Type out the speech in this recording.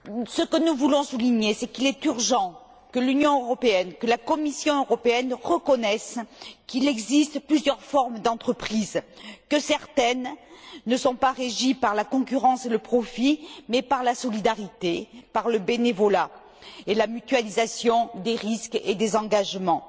Ce que nous voulons souligner, c'est qu'il est urgent que l'Union européenne, que la Commission européenne reconnaisse qu'il existe plusieurs formes d'entreprises, que certaines ne sont pas régies par la concurrence et le profit, mais par la solidarité, par le bénévolat et la mutualisation des risques et des engagements.